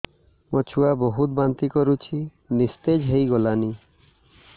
ମୋ ଛୁଆ ବହୁତ୍ ବାନ୍ତି କରୁଛି ନିସ୍ତେଜ ହେଇ ଗଲାନି